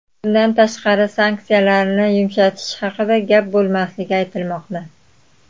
Bundan tashqari, sanksiyalarni yumshatish haqida gap bo‘lmasligi aytilmoqda.